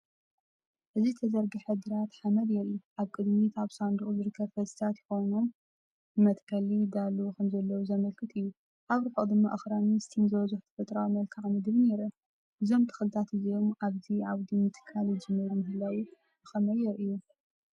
እዚ ተዘርግሐ ግራት ሓመድ የርኢ። ኣብ ቅድሚት ኣብ ሳንዱቕ ዝርከቡ ፈልሲታት ኮይኖም፡ ንመተከሊ ይዳለዉ ከምዘለዉ ዘመልክት እዩ። ኣብ ርሑቕ ድማ ኣኽራንን ስቲም ዝበዝሖ ተፈጥሮኣዊ መልክዓ ምድርን ይርአ። እዞም ተኽልታት እዚኦም ኣብዚ ዓውዲ ምትካል ይጅመር ምህላዉ ብኸመይ የርእዩ?